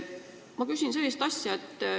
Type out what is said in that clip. Ma küsin sellist asja.